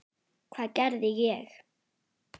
Hvað gerði ég?